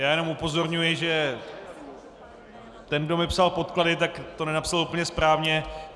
Já jenom upozorňuji, že ten, kdo mi psal podklady, tak to nenapsal úplně správně.